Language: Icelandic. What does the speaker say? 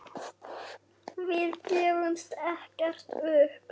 Við gefumst ekkert upp.